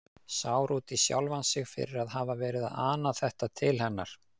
Sár út í sjálfan sig fyrir að hafa verið að ana þetta til hennar.